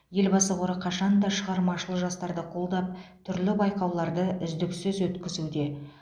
елбасы қоры қашанда шығармашыл жастарды қолдап түрлі байқауларды үздіксіз өткізуде